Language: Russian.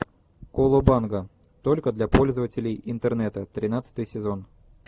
колобанга только для пользователей интернета тринадцатый сезон